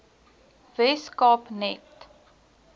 wes kaap net